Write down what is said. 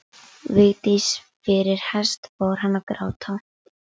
Vigdísi fyrir hest fór hann að gráta.